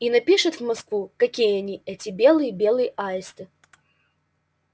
и напишет в москву какие они эти белые белые аисты